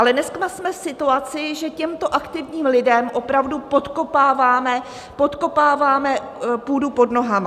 Ale dneska jsme v situaci, že těmto aktivním lidem opravdu podkopáváme půdu pod nohama.